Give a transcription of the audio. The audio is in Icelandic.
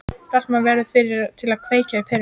Stelpan verður fyrri til að kveikja á perunni.